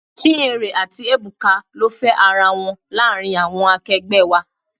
Chinyere àti Ebuka ló fe ara wọn láàárín àwọn akegbe wá.